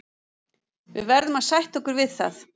Við verðum að sætta okkur við það.